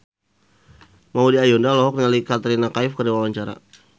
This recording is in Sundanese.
Maudy Ayunda olohok ningali Katrina Kaif keur diwawancara